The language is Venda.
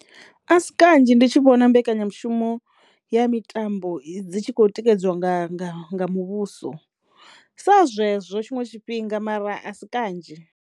A si kanzhi ndi tshi vhona mbekanyamushumo ya mitambo dzi tshi khou tikedziwa nga nga nga muvhuso sa zwezwo tshiṅwe tshifhinga mara a si kanzhi.